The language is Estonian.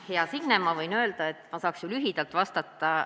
Hea Signe, ma võin öelda, et ma saaks ju lühidalt vastata.